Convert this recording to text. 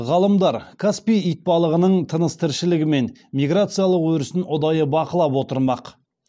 ғалымдар каспий итбалығының тыныс тіршілігі мен миграциялық өрісін ұдайы бақылап отырмақ